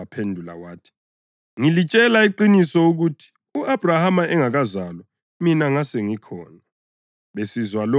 UJesu waphendula wathi, “Ngilitshela iqiniso ukuthi u-Abhrahama engakazalwa, mina ngasengikhona!”